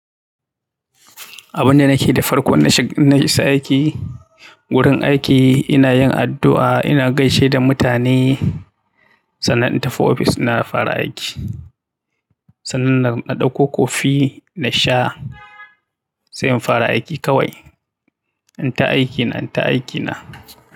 Abin da nake yi da farko in na shiga, in na isa aiki, wurin aiki ina yin addu'a, ina gaishe da mutane sannan in tafi ofis na fara aiki. Sannan na ɗauko kofi na sha sai in fara aiki kawai. In ta aiki na, in ta aiki na.